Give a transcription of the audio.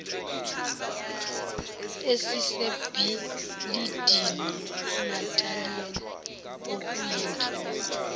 esisebhilidini inatalia okuyinhloko